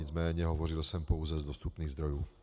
Nicméně hovořil jsem pouze z dostupných zdrojů.